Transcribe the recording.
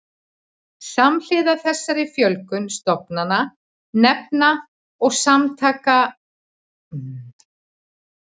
Samhliða þessari fjölgun stofnana, nefnda og samtaka hefur úrræðum til umhverfisstjórnunar fjölgað.